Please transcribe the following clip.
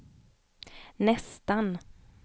nästan